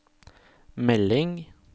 melding